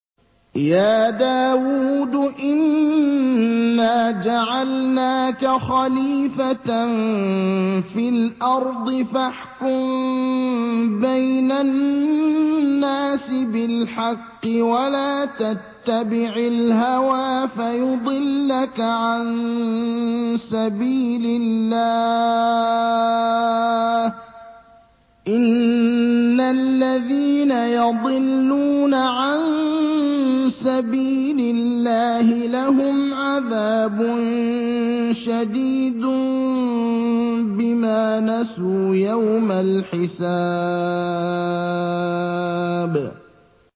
يَا دَاوُودُ إِنَّا جَعَلْنَاكَ خَلِيفَةً فِي الْأَرْضِ فَاحْكُم بَيْنَ النَّاسِ بِالْحَقِّ وَلَا تَتَّبِعِ الْهَوَىٰ فَيُضِلَّكَ عَن سَبِيلِ اللَّهِ ۚ إِنَّ الَّذِينَ يَضِلُّونَ عَن سَبِيلِ اللَّهِ لَهُمْ عَذَابٌ شَدِيدٌ بِمَا نَسُوا يَوْمَ الْحِسَابِ